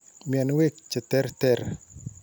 Mianwek che terter.